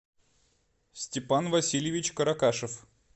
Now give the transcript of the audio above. степан васильевич каракашев